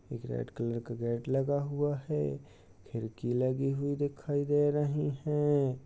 एक red colour का gate लगा हुआ है खिड़की लगी हुई दिखाई दे रही हैं।